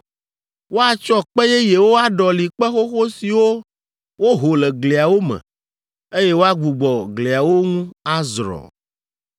Woatsɔ kpe yeyewo aɖɔli kpe xoxo siwo woho le gliawo me, eye woagbugbɔ gliawo ŋu azrɔ̃.